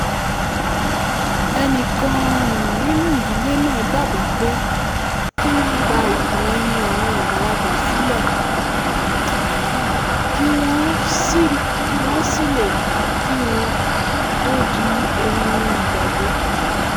ẹnìkan um nínú ìdílé náà dábàá pé kí wọ́n gba ìtàn ẹnu àwọn àgbàlagbà sílẹ̀ kí wọ́n sílẹ̀ kí wọ́n tó di ohun ìgbàgbé